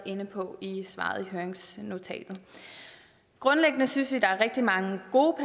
inde på i svaret i høringsnotatet grundlæggende synes vi at der er rigtig mange gode